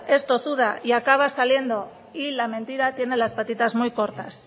es tozuda y acaba saliendo y la mentira tiene las patitas muy cortas